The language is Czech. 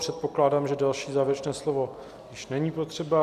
Předpokládám, že další závěrečné slovo již není potřeba.